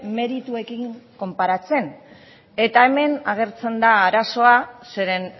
merituekin konparatzen eta hemen agertzen da arazoa zeren